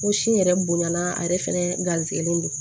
N ko sin yɛrɛ bonyana a yɛrɛ fɛnɛ garisigɛlen don